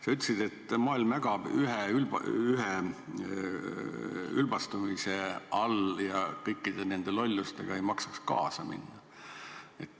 Sa ütlesid, et maailm ägab üheülbastumise all ja kõikide nende lollustega ei maksaks kaasa minna.